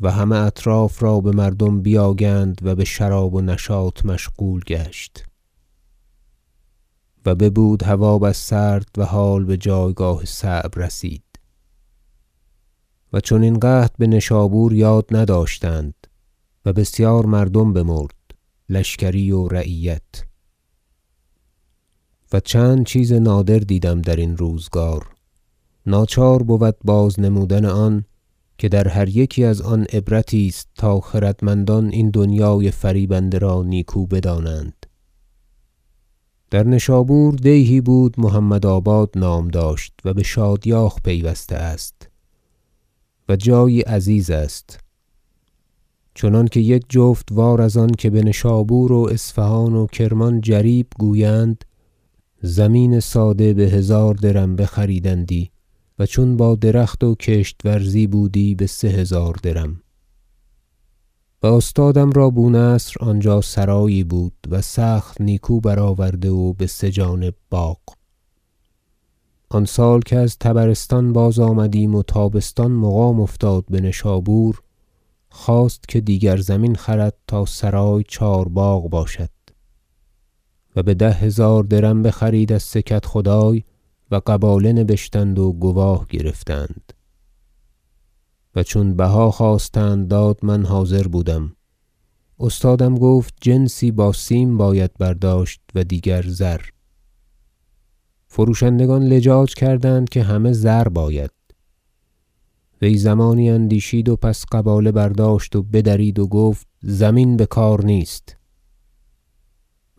و همه اطراف را بمردم بیاگند و بشراب و نشاط مشغول گشت و ببود و هوا بس سرد و حال بجایگاه صعب رسید و چنین قحط بنشابور یاد نداشتند و بسیار مردم بمرد لشکری و رعیت و چند چیز نادر دیدم درین روزگار ناچار بود باز نمودن آن که در هر یکی از آن عبرتی است تا خردمندان این دنیای فریبنده را نیکو بدانند در نشابور دیهی بود محمدآباد نام داشت و بشادیاخ پیوسته است و جایی عزیز است چنانکه یک جفت وار از آن که بنشابور و اصفهان و کرمان جریب گویند زمین ساده بهزار درم بخریدندی و چون با درخت و کشت ورزی بودی بسه هزار درم و استادم را بو نصر آنجا سرایی بود و سخت نیکو برآورده و بسه جانب باغ آن سال که از طبرستان باز آمدیم و تابستان مقام افتاد بنشابور خواست که دیگر زمین خرد تا سرای چهار باغ باشد و بده هزار درم بخرید از سه کدخدای و قباله نبشتند و گواه گرفتند و چون بها خواستند داد - من حاضر بودم- استادم گفت جنسی با سیم باید برداشت و دیگر زر فروشندگان لجاج کردند که همه زر باید وی زمانی اندیشید و پس قباله برداشت و بدرید و گفت زمین بکار نیست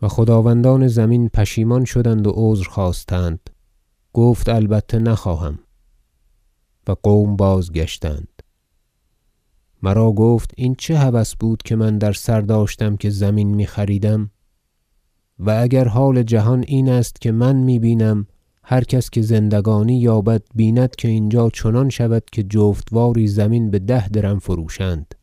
و خداوندان زمین پشیمان شدند و عذر خواستند گفت البته نخواهم و قوم بازگشتند مرا گفت این چه هوس بود که من در سر داشتم که زمین میخریدم و اگر حال جهان این است که من می بینم هر کس که زندگانی یابد بیند که اینجا چنان شود که جفت واری زمین بده درم فروشند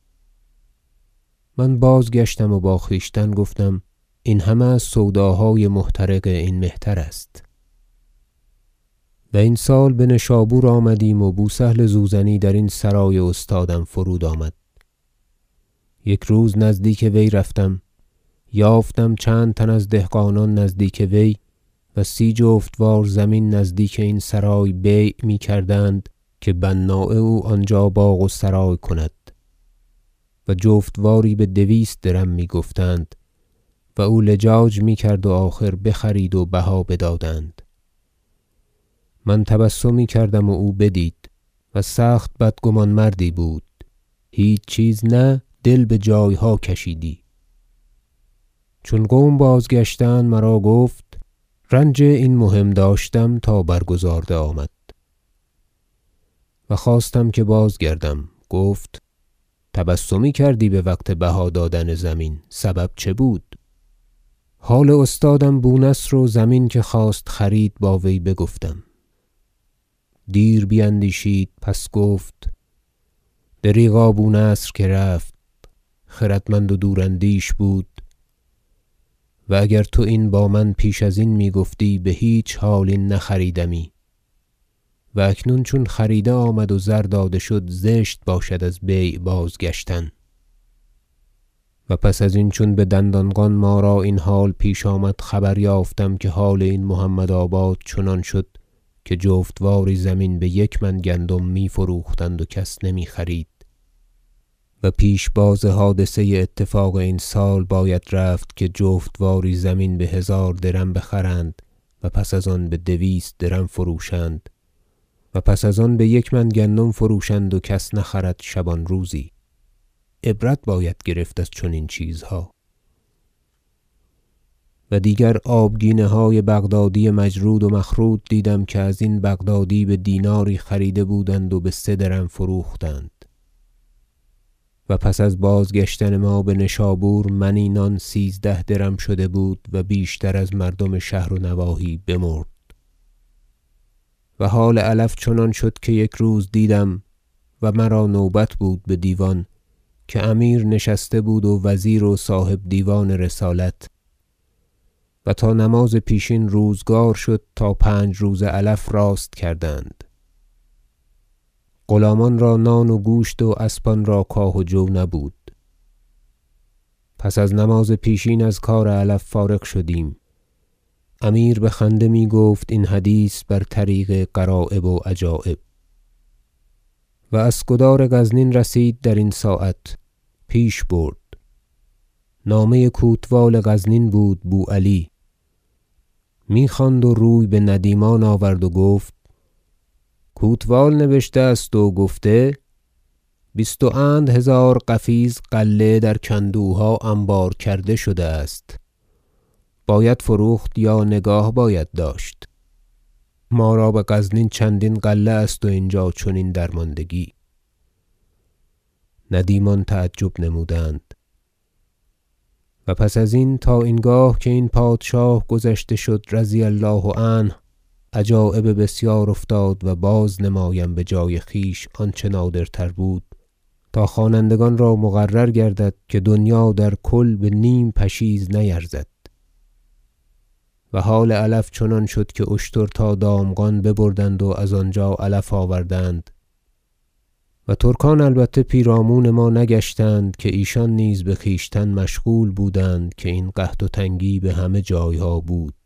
من باز- گشتم و با خویشتن گفتم این همه از سوداهای محترق این مهتر است و این سال بنشابور آمدیم و بو سهل زوزنی درین سرای استادم فرود آمد یک روز نزدیک وی رفتم یافتم چند تن از دهقانان نزدیک وی و سی جفت وار زمین نزدیک این سرای بیع می کردند که بناء او آنجا باغ و سرای کند و جفت واری بدویست درم میگفتند و اولجاج میکرد و آخر بخرید و بها بدادند من تبسمی کردم و او بدید- و سخت بدگمان مردی بود هیچ چیز نه دل بجایها کشیدی - چون قوم بازگشتند مرا گفت رنج این مهم داشتم تا برگزارده آمد و خواستم که بازگردم گفت تبسمی کردی بوقت بها دادن زمین سبب چه بود حال استادم بو نصر و زمین که خواست خرید با وی گفتم دیر بیندیشید پس گفت دریغا بو نصر که رفت خردمند و دوراندیش بود و اگر تو این با من پیش ازین میگفتی بهیچ حال این نخریدمی و اکنون چون خریده آمد و زر داده شد زشت باشد از بیع بازگشتن و پس ازین چون بدندانقان ما را این حال پیش آمد خبر یافتم که حال این محمدآباد چنان شد که جفت واری زمین بیک من گندم میفروختند و کس نمیخرید و پیش باز حادثه اتفاق این سال باید رفت که جفت واری زمین بهزار درم بخرند و پس از آن بدویست درم فروشند و پس از آن بیک من گندم فروشند و کس نخرد شبان روزی عبرت باید گرفت از چنین چیزها و دیگر آبگینه های بغدادی مجرود و مخروط دیدم که ازین بغدادی بدیناری خریده بودند و بسه درم فروختند و پس از بازگشتن ما بنشابور منی نان سیزده درم شده بود و بیشتر از مردم شهر و نواحی بمرد و حال علف چنان شد که یک روز دیدم- و مرا نوبت بود بدیوان- که امیر نشسته بود و وزیر و صاحب دیوان رسالت و تا نماز پیشین روزگار شد تا پنج روزه علف راست کردند غلامان را نان و گوشت و اسبان را کاه و جو نبود پس از نماز پیشین از کار علف فارغ شدیم امیر بخنده میگفت این حدیث بر طریق غرایب و عجایب و اسکدار غزنین رسید درین ساعت پیش برد نامه کوتوال غزنین بود بو علی میخواند و روی بندیمان آورد و گفت کوتوال نبشته است و گفته بیست و اند هزار قفیز غله در کندوها انبار کرده شده است باید فروخت یا نگاه باید داشت ما را بغزنین چندین غله است و اینجا چنین درماندگی ندیمان تعجب نمودند و پس ازین تا این گاه که این پادشاه گذشته شد رضی الله عنه عجایب بسیار افتاد و باز نمایم بجای خویش آنچه نادرتر بود تا خوانندگان را مقرر گردد که دنیا در کل به نیم پشیز نیرزد و حال علف چنان شد که اشتر تا دامغان ببردند و از آنجا علف آوردند و ترکان البته پیرامون ما نگشتند که ایشان نیز بخویشتن مشغول بودند که این قحط و تنگی بهمه جایها بود